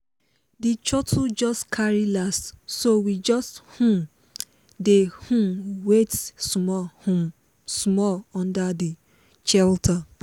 the shuttle just carry last so we just um dey um wait small um small under the shelter